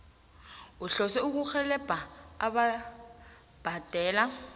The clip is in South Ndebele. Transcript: uhlose ukurhelebha ababhadela